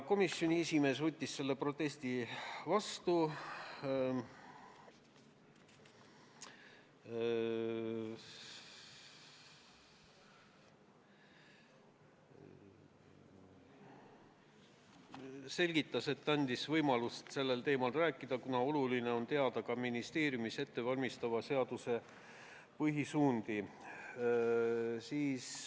Komisjoni esimees võttis selle protesti vastu, aga selgitas asja ja andis võimaluse sellel teemal rääkida, kuna oluline on teada ka ministeeriumis ettevalmistatava seaduse põhisuundi.